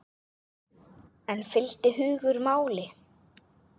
En fylgdi hugur máli?